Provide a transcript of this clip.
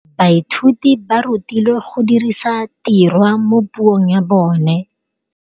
Baithuti ba rutilwe go dirisa tirwa mo puong ya bone.